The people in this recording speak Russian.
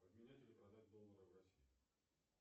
обменять или продать доллары в россии